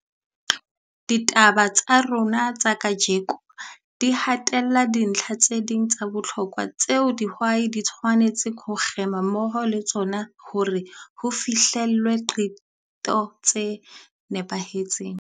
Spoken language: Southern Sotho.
Ditaba tsa rona tsa kajeno di hatella dintlha tse ding tsa bohlokwa tseo dihwai di tshwanetseng ho kgema mmoho le tsona hore ho fihlellwe diqeto tse nepahetseng.